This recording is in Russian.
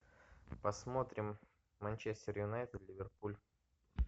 посмотрим манчестер юнайтед ливерпуль